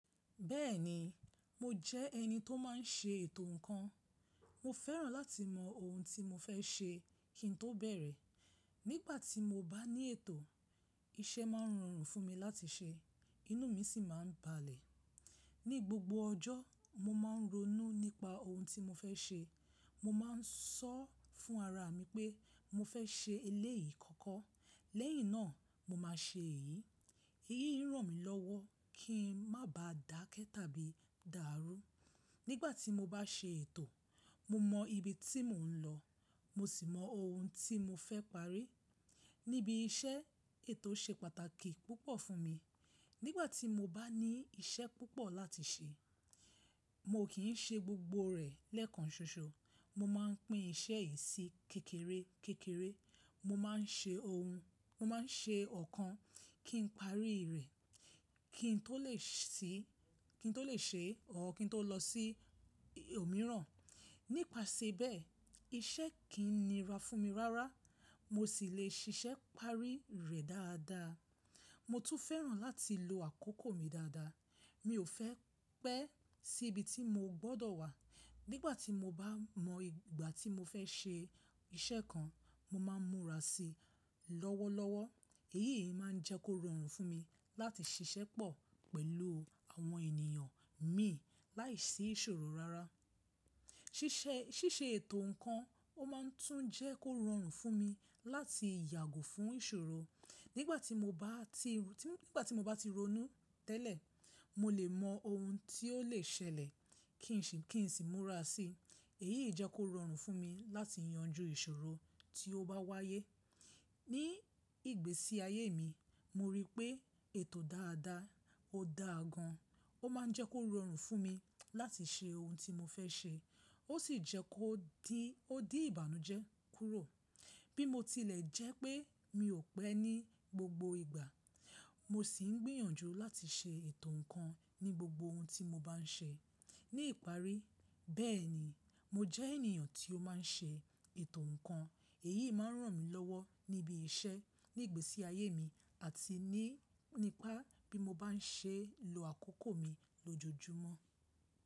Bẹ́ẹ̀ni, mo jẹ́ ẹni tó má n ṣe ètò ǹkan. Mo fẹ́ràn láti mọ ohun tí mo fẹ́ ṣe kí n tó bẹ̀rẹ̀. Nígbà tí mo bá ní ètò, iṣẹ́ má n rọrùn fún mi láti ṣe, inú mi sì má n balẹ̀. Ní gbogbo ọjọ́, mo má n ronú nípa ohun tí mo fẹ́ ṣe. Mo má n sọ́ fún ara mi pé mo fẹ́ ṣe eléyìí kọ́kọ́, lẹ́yìn náà mo má a ṣe èyí. Èyí n ràn mí lọ́wọ́ kí n má ba dàkẹ́ tàbí dàrú. Nígbà tí mo bá ṣe ètò, mo mọ ibi tí mò ń lọ, mo sì mọ ohun tí mo fẹ́ parí. Níbi iṣẹ́ ètò ṣe pàtàkì púpọ̀ fún mi. Nígbà tí mo bá ní iṣẹ́ púpọ̀ láti ṣe, mo kì í ṣe gbogbo rẹ̀ lẹ́ẹ̀kan ṣoṣo. Mo má n pín iṣẹ́ yìí sí kékeré kékeré. Mo má n ṣe ohun, mo má n ṣe ọ̀kan kí n parí rẹ̀ kí n tó lè ṣe or kín tó lọ sí òmíràn. Nípasẹ bẹ́ẹ̀ iṣẹ́ kì í nira fún mi rárá mo sì le ṣiṣẹ́ parí rẹ̀ dáadáa. Mo tún fẹ́ràn láti lo àkókò mi dáadáa. Mi ò fẹ́ pẹ́ sí ibi tí mo gbọ́dọ̀ wà. Nígbà tí mo bá mọ ìgbà tí mo fẹ́ ṣe iṣẹ́ kan, mo má n múra sí i lọ́wọ́lọ́wọ́. Èyí yí má n jẹ́ kó rọrùn fún mi láti ṣiṣẹ́ pọ̀ pẹ̀lú àwọn ènìyàn mi láìsí ìṣòro rárá. Síse ètò ǹkan a má n tún jẹ́ kó rọrùn fún mi láti yàgò fún ìṣòro. Nígbà tí mo bá ti ronú tẹ́lẹ̀, mo le mọ ohun tí ó le ṣẹlẹ̀ kí n sì múra sí i. Èyí yí jẹ kó rọrùn fún mi láti yanjú ìṣòro tí ó bá wáyé. Ní ìgbésí ayé mi, mo rí pé ètò dáadáa ò dáa gan. Ó má n jẹ́ kó rọrùn fún mi láti ṣe ohun tí mo fẹ́ ṣe, ó sì jẹ́ kó di ìbànújẹ́ kúrò. Bí mo tilẹ̀ jẹ́ pé mi ò pẹ́ ní gbogbo ìgbà, mo sì n gbìyànjú láti ṣe ètò ǹkan ní gbogbo ohun tí mo bá n ṣe. Ní ìparí bẹ́ẹ̀ ni, mo jẹ́ ènìyàn tí ó má n ṣe ètò ǹkan. Èyí má n ràn mí lọ́wọ́ níbi iṣẹ́, ní ìgbésí ayé mi àti nípa bí mo bá n ṣe lo àkókò mi lójoojúmọ́.